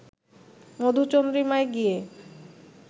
মধুচন্দ্রিমায় গিয়ে